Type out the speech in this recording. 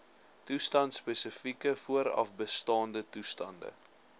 toestandspesifieke voorafbestaande toestande